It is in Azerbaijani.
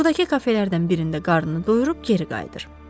Buradakı kafelərdən birində qarnını doyurub geri qayıdır.